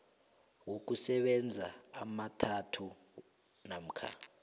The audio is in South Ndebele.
wokusebenza amathathu namkha